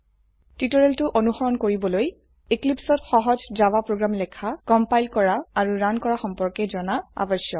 টিউটোৰিয়েলটো অনুসৰন কৰিবলৈ এক্লীপ্সত সহজ জাভা প্ৰোগ্ৰাম লেখা কম্পাইল আৰু ৰান কৰা সম্পৰ্কে জানা আবশ্যক